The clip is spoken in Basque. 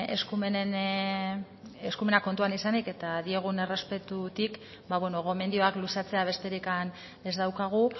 eskumenak kontutan izanik eta diogun errespetutik ba bueno gomendioak luzatzea besterik ez daukagu